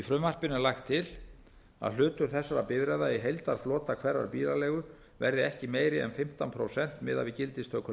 frumvarpinu er lagt til að hlutur þessara bifreiða í heildarflota hverrar bílaleigu verði ekki meiri en fimmtán prósent miðað við gildistöku